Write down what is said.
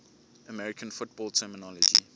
american football terminology